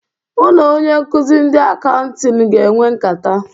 Mụ na onye nkụzị ndị Akauṅtịn ga-enwe nkata.